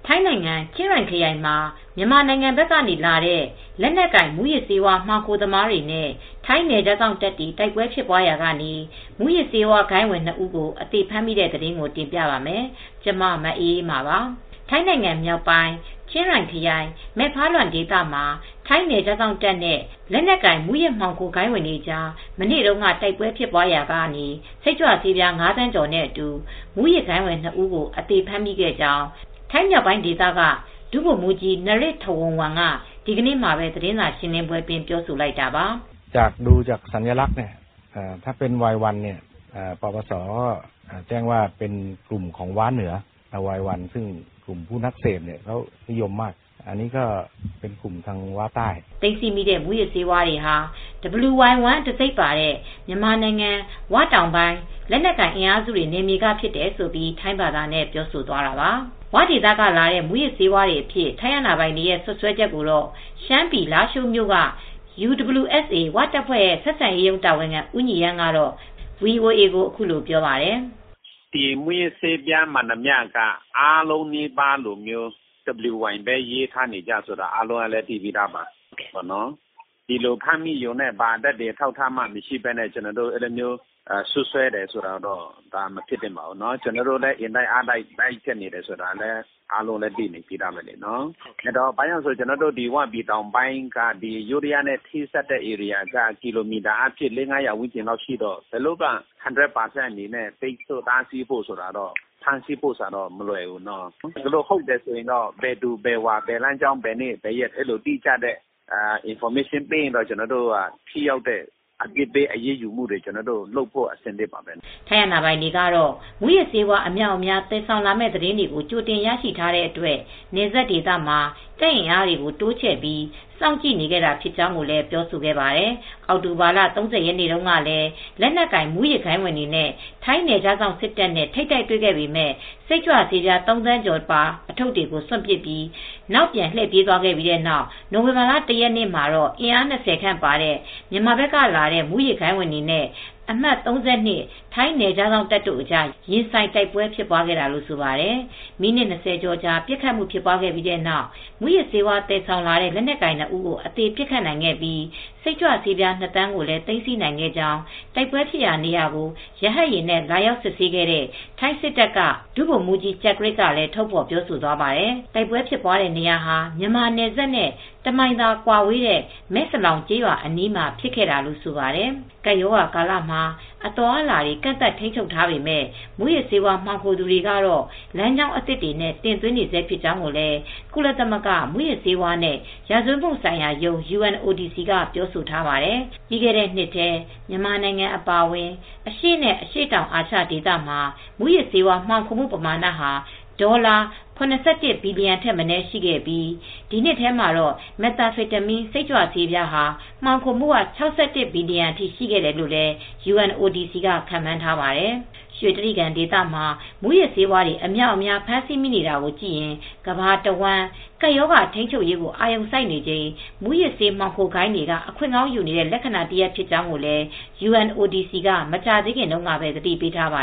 ိုင်းနိုင်ငံ ချင်းရိုင်ခရိုင်မှာ မြန်မာနိုင်ငံဘက်ကလာတဲ့ လက်နက်ကိုင်မူးယစ်ဆေးဝါး မှောင်ခိုသမားတွေနဲ့ ထိုင်းနယ်ခြားစောင့်တပ်တွေ တိုက်ပွဲဖြစ်ပွားရာက မူးယစ်ဆေးဝါးဂိုဏ်းဝင် နှစ်ဦးကို အသေဖမ်းမိတဲ့သတင်းကို တင်ပြပါမယ်။ ဗွီအိုအေမြန်မာပိုင်းသတင်းထောက် မအေးအေးမာက သတင်းပေးပို့ပေးထားပါတယ်။ ထိုင်းနိုင်ငံမြောက်ပိုင်း ချင်းရိုင်ခရိုင် မဲဖါလွမ်ဒေသမှာ ထိုင်းနယ်ခြားစောင့်တပ်နဲ့လက်နက်ကိုင် မူးယစ်မှောင်ခိုဂိုဏ်းဝင်တွေကြား မနေ့တုန်းက တိုက်ပွဲဖြစ်ရာက စိတ်ကြွဆေးပြား ၅,၀၀၀,၀၀၀ ကျော်နဲ့အတူ မူးယစ်ဂိုဏ်းဝင် နှစ် ဦးကို အသေဖမ်းမိခဲ့ကြောင်း ထိုင်းမြောက်ပိုင်းဒေသက ဒုဗိုလ်မှူးကြီး Pol. Narit Thawornwong က ဒီကနေ့ သတင်းစာရှင်းလင်းပွဲမှာ ပြောဆိုလိုက်တာပါ။ "သိမ်းဆည်းမိတဲ့ မူးယစ်ဆေးဝါးတွေဟာ wy1 တံဆိပ်ပါတဲ့ မြန်မာနိုင်ငံ ၀ တောင်ပိုင်းလက်နက်ကိုင် အင်အားစုတွေနယ်မြေကဖြစ်တယ်။" လို့ ထိုင်းဘာသာနဲ့ ပြောဆိုသွားတာပါ။ ဝဒေသက လာတဲ့ မူးယစ်ဆေးဝါးတွေအဖြစ် ထိုင်းအာဏာပိုင်တွေရဲ့ စွပ်စွဲချက်ကိုတော့ ရှမ်းပြည်လားရှိုးမြို့က UWSA ဝတပ်ဖွဲ့ ဆက်ဆံရေးရုံး တာဝန်ခံဦးညီရမ်းက ဗွီအိုအေကို အခုလိုပြောပါတယ်။ "ဒီမူးယစ်ဆေးဝါးမှန်သမျှက WY လို့ပဲရေးထားတာပါ။ သက်သေမရှိဘဲနဲ့ ဒီလိုစွပ်စွဲလို့ မဖြစ်သင့်ပါဘူး။ ကျနော်တို့လည်း အင်တိုက်အားတိုက်တားဆီးနေတာလည်း အားလုံးလည်း သိပြီးသားဖြစ်မှာပါ။ ကျနော်တို့ ဝတောင်ပိုင်းက ယိုးဒယားနယ်စပ်ထိတော့ ကီလိုမီတာ ၄၀၀ နဲ့ ၅၀၀ လောက်ကွာဝေးတော့ ဒီလို ၁၀၀ ရာခိုင်နှုန်း ဖမ်းဆီးဖို့ ထိန်းချုပ်ဖို့ကတော့ မလွယ်ကူပါဘူး။ ဟုတ်တယ်ဆိုရင်တော့ ဘယ်သူဘယ်ဝါ ဘယ်လမ်းကြောင်း ဘယ်နေ့ဆိုတာ အတိအကျ သတင်းပေးရင်တော့ ဘယ်သူမဆိုကို ထိရောက်တဲ့အပြစ်ပေး အရေးယူဖို့ကတော့ ကျနော်တို့ဘက်ကတော့ အဆင်သင့်ပါပဲ။" ထိုင်းအာဏာပိုင်တွေကတော့ မူးယစ်ဆေးဝါး အမြောက်အမြား သယ်ဆောင်မယ့် သတင်းတွေ ကြိုတင်ရရှိထားတဲ့အတွက် နယ်စပ်ဒေသမှာ တပ်အင်အားတွေ တိုးချဲ့ပြီး စောင့်ကြည့်နေခဲ့တာဖြစ်ကြောင်းလည်း ပြောဆိုခဲ့ပါတယ်။ အောက်တိုဘာလ ၃၀ ရက်နေ့တုန်းကလည်း လက်နက်ကိုင်မူးဂိုဏ်းတွေနဲ့ ထိုင်းနယ်ခြားစောင့် စစ်တပ်နဲ့ ထိပ်တိုက်တွေ့ခဲ့ပေမဲ့ စိတ်ကြွဆေးပြား ၃,၀၀၀,၀၀၀ ကျော်ပါ ထုတ်တွေကို စွန့်ပစ်ပြီး နောက်ပြန်လှည့်ပြေးသွားခဲ့ပြီး နိုဝင်ဘာလ ၁ ရက်နေ့မှာတော့ အင်အား၂၀ ခန့်ပါတဲ့ မြန်မာဘက်ကဝင်လာတဲ့ မှူးယစ်ဂိုဏ်းဝင်တွေနဲ့ အမှတ် ၃၂ ထိုင်းနယ်ခြားစောင့်တပ်တို့အကြား ရင်ဆိုင်တိုက်ပွဲ ဖြစ်ပွားခဲ့တာလို့ ဆိုပါတယ်။ မိနစ် ၂၀ ကျော်ပစ်ခတ်မှု ဖြစ်ပွားခဲ့ပြီးတဲ့နောက် မူးယစ်ဆေးသယ်ဆောင်လာတဲ့ လက်နက်ကိုင်နှစ်ဦး အသေပစ်ခတ်နိုင်ခဲ့ပြီး စိတ်ကြွဆေး ၂,၀၀၀,၀၀၀ ကိုလည်း သိမ်းဆည်းနိုင်ခဲ့ကြောင်း တိုက်ပွဲဖြစ်ပွားရာဒေကို ရဟတ်ယာဉ်နဲ့ လာရောက် စစ်ဆေးခဲ့တဲ့ ထိုင်းစစ်တပ်တပ်က ဒုဗိုလ်မှူးကြီး ကျကရစ်ကလည်း ထုတ်ဖေါ်ပြောဆိုသွားပါတယ်။ တိုက်ပွဲဖြစ်ပွားတဲ့ နေရာဟာ မြန်မာ နယ်စပ်နဲ့ တစ်မိုင်ခန့်သာကွာဝေးတဲ့ Mae Salong ကျေးရွာအနီးမှာ ဖြစ်ခဲ့တာလို့ဆိုပါတယ် ကပ်ရောဂါကာလမှာ အသွားအလာတွေ ကန့်သတ်ထိန်းချုပ်ထားပေမဲ့ မူးယစ်ဆေးဝါး မှောင်ခိုသူတွေကတော့ လမ်းကြောင်းသစ်တွေနဲ့ တင်သွင်းနေဆဲဖြစ်ကြောင်းလည်း ကုလသမဂ္ဂ မူးယစ်ဆေးဝါးနဲ့ ရာဇဝတ်မှုဆိုင်ရာရုံး က ပြောဆိုထားပါတယ်။ ပြီးခဲ့တဲ့နှစ်ထဲ မြန်မာနိုင်ငံအပါအဝင် အရှေ့နဲ့ အရှေ့တောင်အာရှ ဒေသမှာ မူးယစ်ဆေးဝါး မှောင်ခိုမှုပမာဏဟာ ဒေါ်လာ ၇၁ ဘီလီယံထက်မနည်း ရှိခဲ့ပြီး ဒီအထဲမှာ Methamphetamine စိတ်ကြွဆေး မှောင်ခိုမှုက ၆၁ ဘီလီယံအထိ ရှိတယ်လို့လည်း UNODC က ခန့်မှန်းထားပါတယ်။ ရွှေတြိဂံဒေသမှာ မူးယစ်ဆေးတွေ အများအပြား ဖမ်းဆီးမိနေတာကိုကြည့်ရင် ကမ္ဘာတဝန်း ကပ်ရောဂါထိန်းချုပ်ရေး အာရုံစိုက်နေချိန် မူးယစ်ဆေးမှောင်ခိုဂိုဏ်းတွေက အခွင့်ကောင်းယူနေတဲ့ လက္ခဏာတရပ် ဖြစ်ကြောင်းလည်း UNODC က မကြာသေးခင်တုန်းကပဲ သတိပေးထားပါ